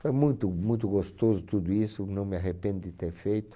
Foi muito muito gostoso tudo isso, não me arrependo de ter feito.